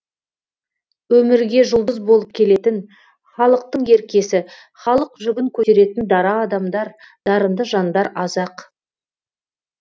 өмірге жұлдыз болып келетін халықтың еркесі халық жүгін көтеретін дара адамдар дарынды жандар аз ақ